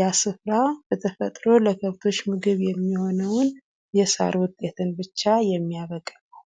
ያ ስፍራ በተፈጥሮ ለከብቶች ምግብ የሚሆነውን የሳር ውጤትን ብቻ የሚያበቅል ነው።